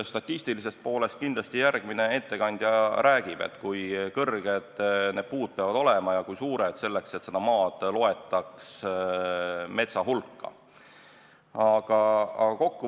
Statistilisest poolest järgmine ettekandja kindlasti räägib, et kui kõrged ja suured need puud peavad olema, selleks et maad metsa hulka loetaks.